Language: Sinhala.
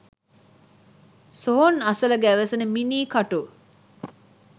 සොහොන් අසල ගැවසෙන මිනී කටු